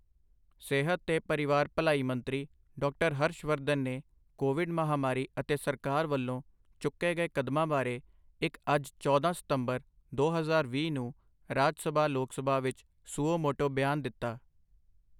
ਸਿਹਤ ਤੇ ਪਰਿਵਾਰ ਭਲਾਈ ਮੰਤਰੀ ਡਾਕਟਰ ਹਰਸ਼ ਵਰਧਨ ਨੇ ਕੋਵਿਡ ਮਹਾਮਾਰੀ ਅਤੇ ਸਰਕਾਰ ਵੱਲੋਂ ਚੁੱਕੇ ਗਏ ਕਦਮਾਂ ਬਾਰੇ ਇੱਕ ਅੱਜ ਚੌਂਦਾ ਸਤੰਬਰ ਦੋ ਹਜ਼ਾਰ ਵੀਹ ਨੂੰ ਰਾਜ ਸਭਾ ਲੋਕ ਸਭਾ ਵਿੱਚ ਸੁਓ ਮੋਟੋ ਬਿਆਨ ਦਿੱਤਾ